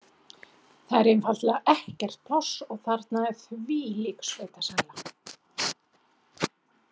Það er einfaldlega ekkert pláss og þarna er þvílík sveitasæla.